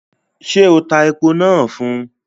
Ṣé o tá èpo náà fún?